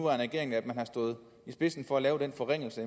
regering at man har stået i spidsen for at lave den forringelse